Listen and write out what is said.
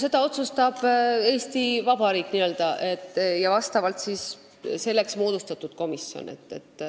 Seda otsustab Eesti Vabariik, nii-öelda, ja selleks moodustatud komisjon.